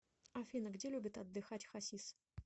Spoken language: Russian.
афина где любит отдыхать хасис